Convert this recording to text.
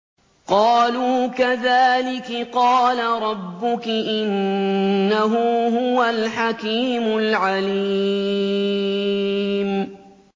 قَالُوا كَذَٰلِكِ قَالَ رَبُّكِ ۖ إِنَّهُ هُوَ الْحَكِيمُ الْعَلِيمُ